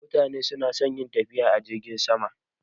Mutane suna son yin tafiya a jirgin sama